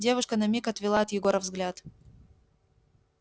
девушка на миг отвела от егора взгляд